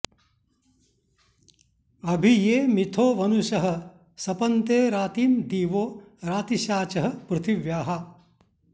अभि ये मिथो वनुषः सपन्ते रातिं दिवो रातिषाचः पृथिव्याः